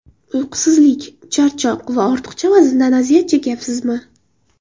Uyqusizlik, charchoq va ortiqcha vazndan aziyat chekayapsizmi?